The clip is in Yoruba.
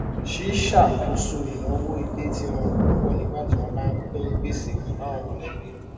sì ṣàkóso ìnáwó ilé tí rọrùn púpọ nígbà tí wọn bá ń pín gbèsè pẹlú àwọn mọlẹbí